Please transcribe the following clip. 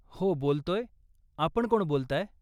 हो, बोलतोय, आपण कोण बोलताय?